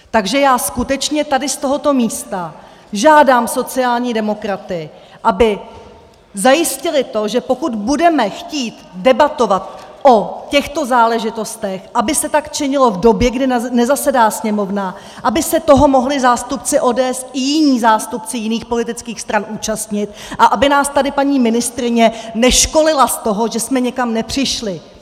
Takže já skutečně tady z tohoto místa žádám sociální demokraty, aby zajistili to, že pokud budeme chtít debatovat o těchto záležitostech, aby se tak činilo v době, kdy nezasedá Sněmovna, aby se toho mohli zástupci ODS i jiní zástupci jiných politických stran účastnit a aby nás tady paní ministryně neškolila z toho, že jsme někam nepřišli.